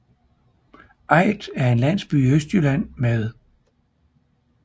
Aidt er en landsby i Østjylland med